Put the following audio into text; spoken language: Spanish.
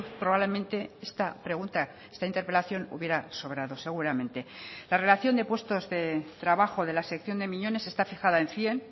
probablemente esta pregunta esta interpelación hubiera sobrado seguramente la relación de puestos de trabajo de la sección de miñones está fijada en cien